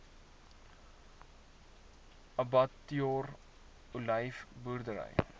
abbatior olyf boerdery